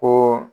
Ko